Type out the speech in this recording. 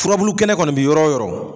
Furabulu kɛnɛ kɔni bi yɔrɔ o yɔrɔ.